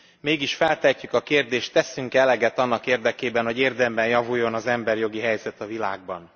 Mégis feltehetjük a kérdést, teszünk e eleget annak érdekében, hogy érdemben javuljon az emberi jogi helyzet a világban?